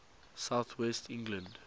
south west england